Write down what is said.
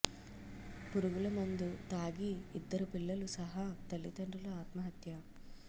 పురుగుల మందు తాగి ఇద్దరు పిల్లలు సహా తల్లిదండ్రులు ఆత్మహత్య